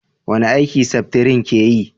wani aiki seftrin ke yi?